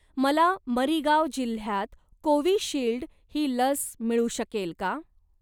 मला मरीगाव जिल्ह्यात कोविशिल्ड ही लस मिळू शकेल का?